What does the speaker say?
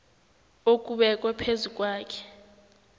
okubekwe phezu kwakhe